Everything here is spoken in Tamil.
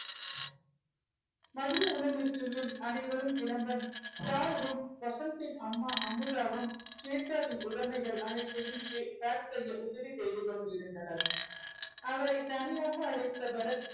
மதிய உணவிற்கு மேல் அனைவரும் கிளம்ப சாருவும் வசந்தின் அம்மா அமுதாவும் ஸ்வேதாவின் உடைமைகள் அனைத்தையும் pack செய்ய உதவி செய்து கொண்டிருந்தனர். அவரை தனியாக அழைத்த பரத்.